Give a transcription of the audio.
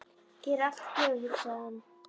Hér er allt í dögun, hugsaði hann.